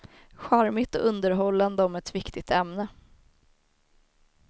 Charmigt och underhållande om ett viktigt ämne.